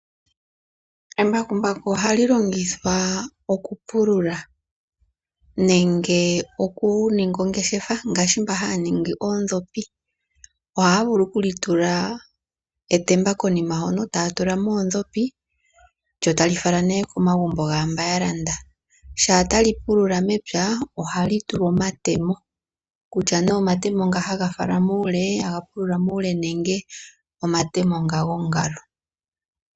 Embakumbaku ohali longithwa oku pulula nenge oku ninga ongeshefa ngaashi mba haya ningi oondhopi ohaa vulu oku li tula etemba konima hono taya tula mo oondhopi lyo tali fala nee komagumbo gaa mba ya landa. Shampa ta li pulula mepya ohali tulwa omatemo, kutya nee omatemo nga haga pulula muule nenge omatemo gongalo.